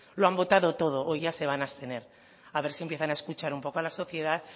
lo han votado todo hoy ya se van a abstener a ver si empiezan a escuchar un poco a la sociedad